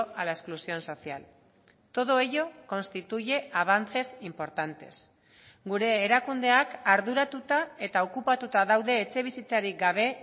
a la exclusión social todo ello constituye avances importantes gure erakundeak arduratuta eta okupatuta daude etxebizitzarik gabe